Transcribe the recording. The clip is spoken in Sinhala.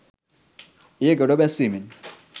එය ගොඩ බැස්වීමෙන්